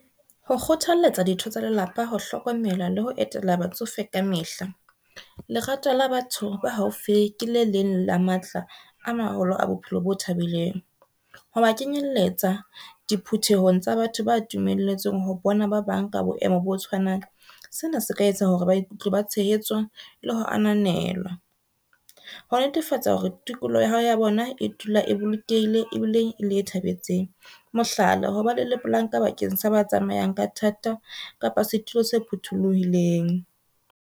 Ho kgothalletsa ditho tsa lelapa ho hlokomela le ho etela batsofe kamehla. Lerato la batho ba haufi ke le leng la matla a maholo a bophelo bo thabileng. Ho ba kenyelletsa diphuthehong tsa batho ba dumelletsweng ho bona ba bang ka boemo bo tshwanang. Sena se ka etsa hore ba ikutlwe ba tshehetswa le ho ananelwa. Ho netefatsa hore tikoloho ya bona e dula e bolokehile ebile e le e thabetseng. Mohlala, hoba le le planka bakeng sa ba tsamayang ka thata kapa setulo se phuthuluhileng.